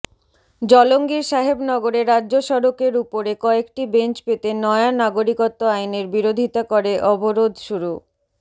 জলঙ্গির সাহেবনগরে রাজ্য সড়কের উপরে কয়েকটি বেঞ্চ পেতে নয়া নাগরিকত্ব আইনের বিরোধিতা করে অবরোধ শুরু